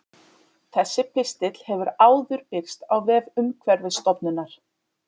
Þessi pistill hefur áður birst á vef Umhverfisstofnunar.